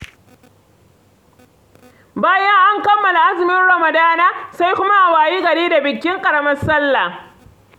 Bayan an kammala azumin Ramadana, sai kuma a wayi gari da bikin ƙaramar salla.